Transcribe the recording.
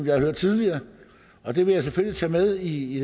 har hørt tidligere og det vil jeg selvfølgelig tage med i